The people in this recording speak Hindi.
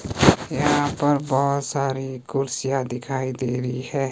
यहां पर बहोत सारी कुर्सियां दिखाई दे रही हैं।